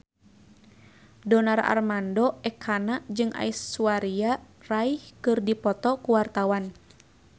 Donar Armando Ekana jeung Aishwarya Rai keur dipoto ku wartawan